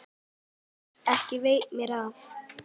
Ekki veitti mér af.